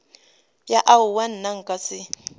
ya aowa nna nka se